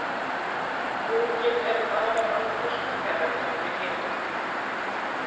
Unginn er afar vanþroska þegar hann kemur í heiminn.